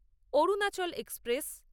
Arunachal express